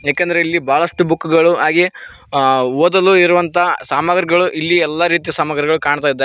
ಏಕೆಂದರೆ ಇಲ್ಲಿ ಬಹಳಷ್ಟು ಬುಕ್ ಗಳು ಹಾಗೆ ಓದಲು ಇರುವಂತಹ ಸಾಮಗ್ರಿಗಳು ಇಲ್ಲಿ ಎಲ್ಲಾ ರೀತಿಯ ಸಾಮಗ್ರಿಗಳು ಕಾಣ್ತಇದಾವೆ.